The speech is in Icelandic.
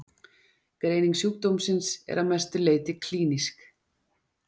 Greining sjúkdómsins er að mestu leyti klínísk.